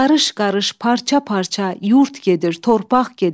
Qarış-qarış, parça-parça yurd gedir, torpaq gedir.